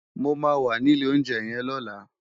Mó má wà ni ilé óunjè yèn lòlá